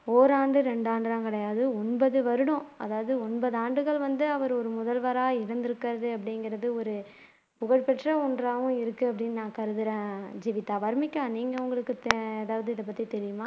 ஓராண்டு ரெண்டாண்டு எல்லாம் கிடையாது ஒன்பது வருடம் அதாவது ஒன்பதாண்டுகள் வந்து அவர் ஒரு முதல்வரா இருந்து இருக்கிறது அப்படிங்கிறது ஒரு புகழ்பெற்ற ஒன்றாவும் இருக்கு அப்படின்னு நான் கருதுறேன் ஜீவிதா வர்ணிகா நீங்க உங்களுக்கு ஹம் ஏதாவது இதப்பத்தி தெரியுமா